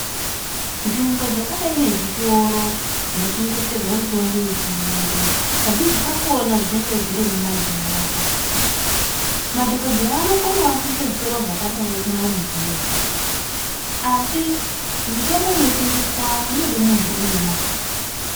Nzvimbo dzakadai nezvitoro zvino tengeserwa mitombo yechirungu kazhinji kakona dzinenge dziri mumadhorobha madhokodheya anokonawo kuisa zvitoro zvakadai kumaruzevha asi mitombo ino tengeswamo inoda muntu uine mari.